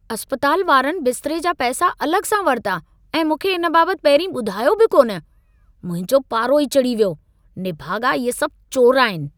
इस्पतालु वारनि बिस्तरे जा पैसा अलॻि सां वरिता ऐं मूंखे इन बाबति पहिरीं ॿुधायो बि कोन। मुंहिंजो पारो ई चढ़ी वियो। निभाॻा इहे सभु चोर आहिनि!